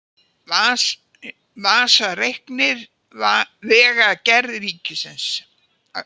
Vasareiknir Vegagerð Ríkisins